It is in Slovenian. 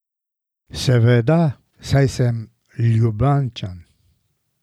Seveda, saj sem Ljubljančan.